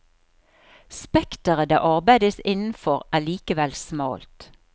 Spekteret det arbeides innenfor er likevel smalt.